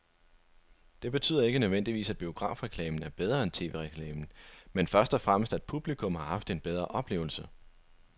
Det betyder ikke nødvendigvis, at biografreklamen er bedre end tv-reklamen, men først og fremmest at publikum har haft en bedre oplevelse.